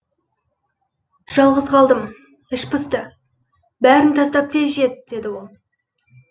жалғыз қалдым іш пысты бәрін тастап тез жет деді ол